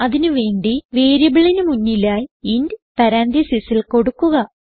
അതിന് വേണ്ടി വേരിയബിളിന് മുന്നിലായി ഇന്റ് പരാൻതീസിസിൽ കൊടുക്കുക